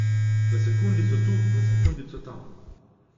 Za sekundico tu, za sekundico tam.